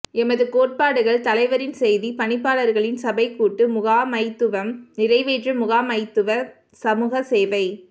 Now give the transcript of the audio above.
எமது கோட்பாடுகள் தலைவரின் செய்தி பணிப்பாளர்களின் சபை கூட்டு முகாமைத்துவம் நிறைவேற்று முகாமைத்துவம் சமூக சேவை